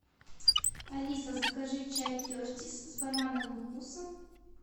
алиса закажи чай кертис с банановым вкусом